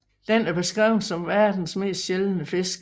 Den er beskrevet som verdens mest sjældne fisk